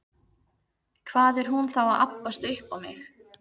Hvað er hún þá að abbast upp á mig?